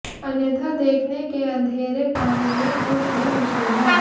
अन्यथा देखने के अंधेरे पानी में कुछ भी मुश्किल है